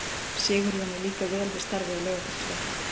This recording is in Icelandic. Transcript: Sigurjóni líkar vel við starfið á Laugardalsvelli.